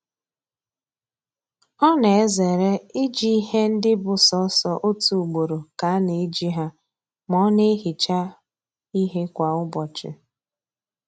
Ọ na-ezere iji ihe ndị bụ sọọsọ otu ugboro ka a na eji ha ma ọ na-ehicha ihe kwa ụbọchị